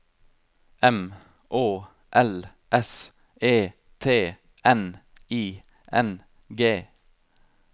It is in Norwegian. M Å L S E T N I N G